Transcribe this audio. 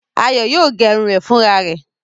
Ayọ̀ yóò gẹrun rẹ̀ fúnra rẹ̀.